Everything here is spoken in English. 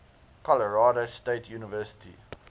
colorado state university